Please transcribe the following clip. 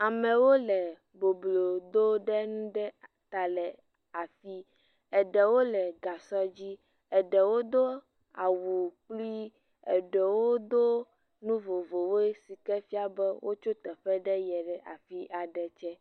Amewo le boblo dom ɖe enuɖe ta le afii eɖewo le gasɔ dzi, eɖewo do awu kpli eɖewo do nu vovovowo si ke fia be wotso teƒe ɖe yie ɖe afi aɖe.